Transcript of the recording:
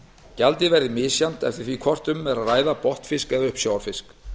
gjaldið verði misjafnt eftir því hvort um er að ræða botnfisk eða uppsjávarfisk